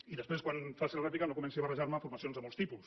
i després quan faci la rèplica no comenci a barrejar me formacions de molts tipus